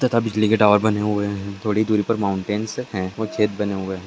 तथा बिजली के टावर बने हुए हैं थोड़ी दूरी पर माउंटैंस है और छेद बने हुए हैं।